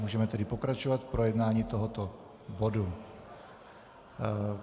Můžeme tedy pokračovat v projednávání tohoto bodu.